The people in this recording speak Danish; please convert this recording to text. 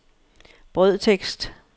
brødtekst